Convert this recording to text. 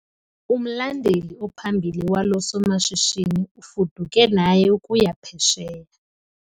Umlandeli ophambili walo somashishini ufuduke naye ukuya phesheya.